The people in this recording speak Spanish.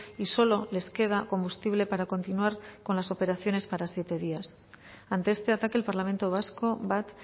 y solo les queda combustible para continuar con las operaciones para siete días ante este ataque el parlamento vasco bat